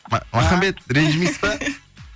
махамбет ренжімейсіз ба